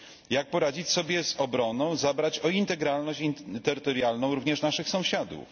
Jak poradzić sobie z obroną, zadbać o integralność terytorialną również naszych sąsiadów?